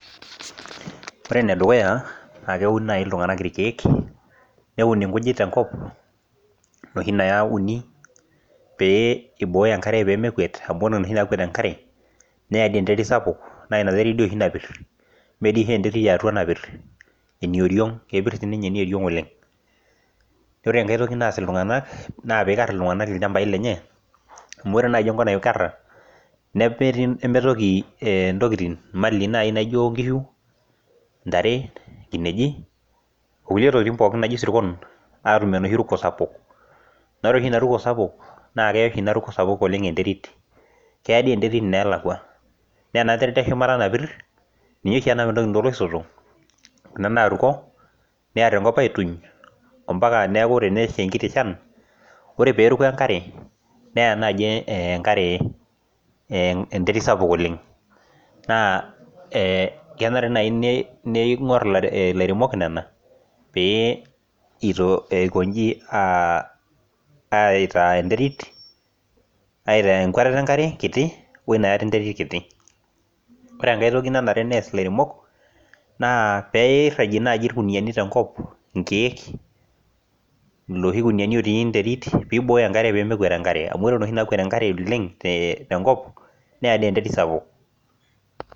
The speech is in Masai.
ore ene dukuya naa keun naaji iltung'anak ilkeek neun ilkujit tenkop, pee ibooyo enkare pee mekuet ni add enterit sapuk naa ina terit dooshi napir, me dii oshi entarit yatua napir ene oriong' kepir sii ninye eneoriong' oleng', ore enkae naa pee ikar iltung'anak ilchambai lenye, amu ore enkop loikara nimitoki imali naaji naijo inkishu , intare, ajing' ashu isirkon aatum enoshi ruko sapuk amu ore oshi inaruko sapuk naa keya enterit ineelakua, ore ena terit eshumata napir ninye oshi eya intokitin toolosotok neer enkop aituny, mpaka neeku ore pee esha enkiti shan ore pee eruko enkare neya naaji enkare enterit sapuk oleng' naa kenare naaji ning'or ilairemok nena pee ikoji aitaa enterit, aitaa enkatata enkare kiti , ore enkae toki nanare nees ilairemok naa pee irajie naaaji ilkuniyani tenkop ikeek ilkuniyani lootii enterit pee iboyo enkare pee mekuet enkare amu ore enoshi naakuet enkare oleng neya enkare sapuk.